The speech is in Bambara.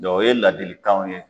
o ye ladilikanw ye